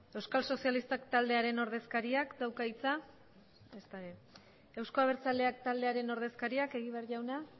euskal sozialistak taldearen ordezkariak dauka hitza ezta ere euzko abertzaleak taldearen ordezkariak egibar jauna